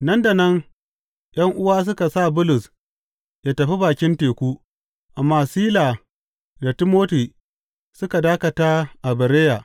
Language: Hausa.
Nan da nan ’yan’uwa suka sa Bulus yă tafi bakin teku, amma Sila da Timoti suka dakata a Bereya.